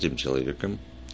тем человеком